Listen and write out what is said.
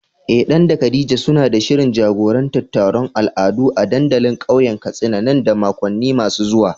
Eh Dan da Khadija suna da shirin jagorantar taron al'adu a dandalin kauyen Katsina nan da makonni masu zuwa